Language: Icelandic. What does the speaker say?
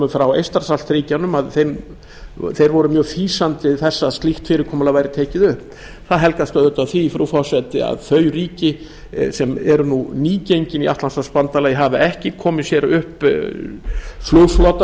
frá eystrasaltsríkjunum að þeir voru mjög fýsandi þess að slíkt fyrirkomulag væri tekið upp það helgast auðvitað af því frú forseti að þau ríki sem eru nú nýgengin í atlantshafsbandalagið hafa ekki komið sér upp flugflota